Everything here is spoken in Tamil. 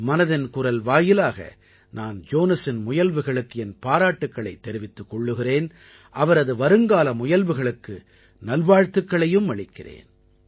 மனதின் குரல் வாயிலாக நான் ஜோனஸின் முயல்வுகளுக்கு என் பாராட்டுக்களைத் தெரிவித்துக் கொள்கிறேன் அவரது வருங்கால முயல்வுகளுக்கு நல்வாழ்த்துக்களையும் அளிக்கிறேன்